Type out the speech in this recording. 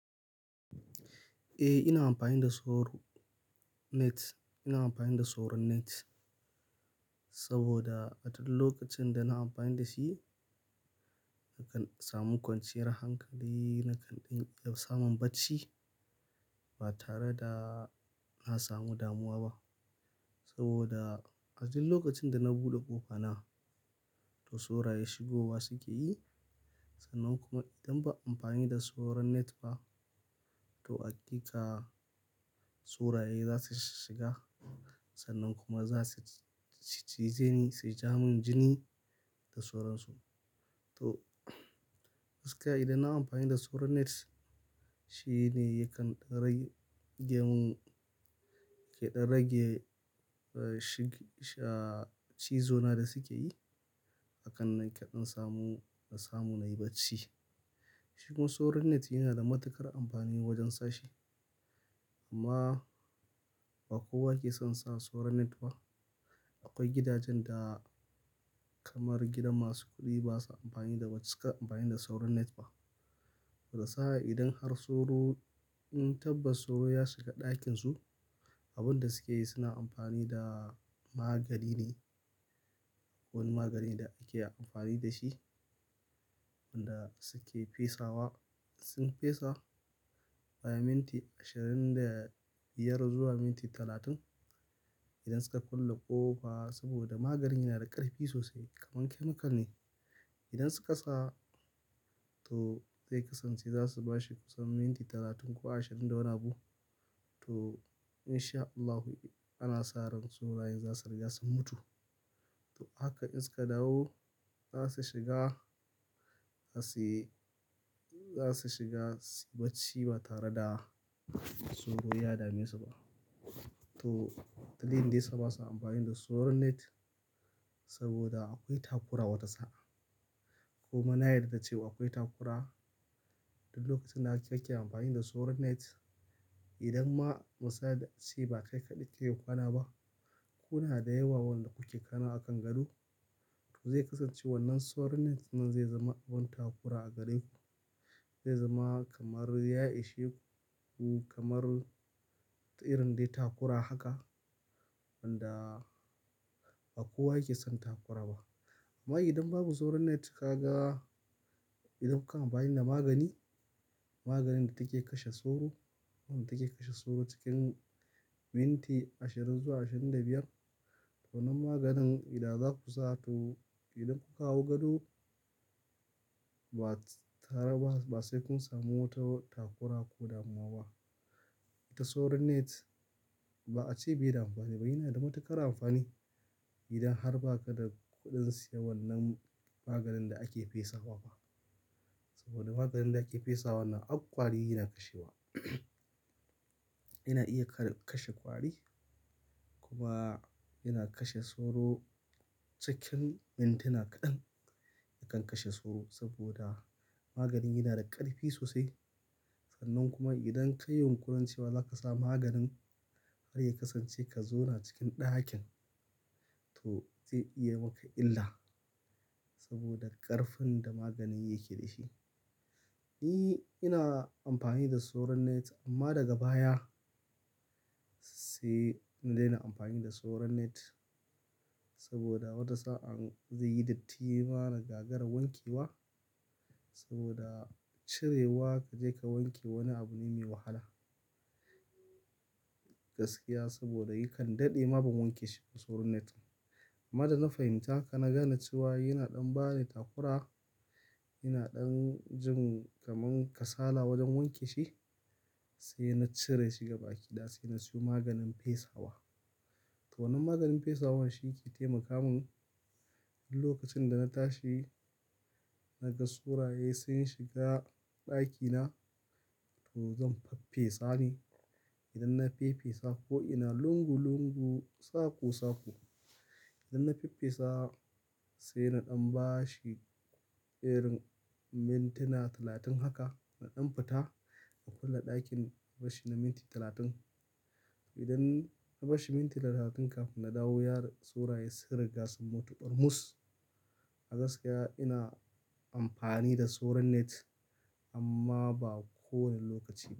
Eh, ina amfani da soro net. Ina amfani da soron net saboda a duk lokacin da na amfani da shi, nakan samu kwanciyar hankali, nakan ɗan samu bacci ba tare da na samu damuwa ba. Saboda a duk lokacin da na buɗe ƙofa na, to soro ya shigowa suke yi. Sannan kuma idan ba a amfani da soron net ba, to aƙika soro ya za su shiga. Sannan kuma za su cijeni, su ja mun jini da soron su. To, gaskiya idan na amfani da soron net, shi ne yakan rage mun ah, shi, ah, cizo na da suke yi. Hakan na keɗan samu, samu na yi bacci. Shigon soron net yana da matuƙar amfani wajen sashi. Amma ba kowa ke son sa soron net ba. Akwai gidajen da kamar gidan masu kuɗi basa amfani da ba su cika, amfani da soron net ba. Wata sa'a idan har soro, in tabbas soro ya shiga ɗakin su, abin da suke yi suna amfani da magani ne, wani magani da ake amfani da shi, wanda suke fesawa. Sun fesa bayan minti ashirin da biyar zuwa minti talatin. Idan suka kulle ƙofa saboda magani yana da ƙarfi sosai kamar chemical ne. Idan suka sa, to zai kasance za su bashi kusan minti talatin ko ashirin da wani abu. To in sha Allahu ana sa ran soro, in za su riga sun mutu. To haka in suka dawo, za su shiga, za su, za su shiga bacci ba tare da tsoro ya dame su ba. To, dalilin dai sa basa amfani da soron net saboda akwai takura wata sa'a. Kuma na yarda cewa akwai takura. Dukk lokacin da ake-ake amfani da soron net, idan ma musa shi ba kai kaɗai kake kwana ba, kuna da yawa wanda kuke kwana a kan gado. To zai kasance wannan soron net nan zai zama abin takura a gare ku. Zai zama kamar ya ishe ku kamar irin dai takura haka, wanda ba kowa yake son takura ba. Amma idan babu soron net kaga, idan kuka amfani da magani, maganin da take kashe soro, wadda take kashe soro cikin minti ashirin zuwa ashirin da biyar. To wannan maganin idan za ku sa to idan kuka hau gado, ba tare ba, ba sai kun samu wata takura ko damuwa ba. Ta soron net ba'a ce bai da amfani ba, yana da matuƙar amfani. Idan har ba ka da kuɗin siya wannan maganin da ake fesawa ba. Saboda maganin da ake fesawa nan har kwari yana kashewa. Yana iya kae, kashe kwari. Kuma yana kashe soro cikin mintuna kaɗan yakan kashe soro saboda maganin yana da ƙarfi sosai. Sannan kuma idan ka yi yunƙurin cewa za ka sa maganin har ya kasance ka zo na cikin ɗakin, to zai iya maka illa saboda ƙarfin da maganin yake dashi. Ni ina amfani da soron net amma daga baya, sai na daina amfani da soron net saboda wata sa'a zai yi datti har ma na gagara wanke wa. Saboda cirewa ka je ka wanke wani abu ne mai wahala. Gaskiya saboda yakan daɗe ma ban wanke shi da soron net ba. Amma da na fahimta ka na gane cewa yana ɗan ba ni takura, yana ɗan jin kamar kasala wajen wanke shi, sai na cire shi gaba ɗaya. Sai na siyo maganin fesawa. To wannan maganin fesawan shi yake taimaka mun duk lokacin da na tashi naga soroye sun shiga ɗakina, to zan faffesa ne. Idan na faffesa ko ina lungu lungu, sako sako. Idan na faffesa sai na ɗan bashi irin mintuna talatin haka, na ɗan fita na kulle ɗakin, bashi na minti talatin. Idan na bashi minti talatin kafin na dawo, ya ri-- soro ya sun riga sun mutu kurmus. A gaskiya ina amfani da soron net amma ba kowane lokaci ba.